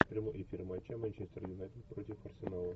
прямой эфир матча манчестер юнайтед против арсенала